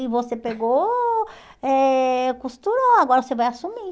E você pegou, eh costurou, agora você vai assumir.